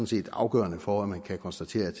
set er afgørende for at man kan konstatere at